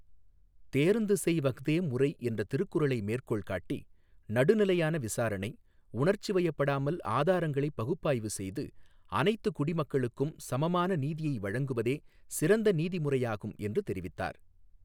தேர்ந்துசெய் வஃதே முறை என்ற திருக்குறளை மேற்கோள் காட்டி, நடுநிலையான விசாரணை, உணர்ச்சி வயப்படாமல் ஆதாரங்களை பகுப்பாய்வு செய்து, அனைத்து குடிமக்களுக்கும் சமமான நீதியை வழங்குவதே சிறந்த நீதி முறையாகும் என்று தெரிவித்தார்.